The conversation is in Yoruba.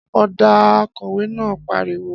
Ọ́dà!, Akọ̀wé náà pariwo